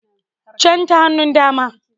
Can ta hannun dama